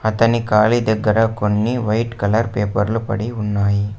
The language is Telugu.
అతని కాలి దగ్గర కొన్ని వైట్ కలర్ పేపర్లు పడి ఉన్నాయి.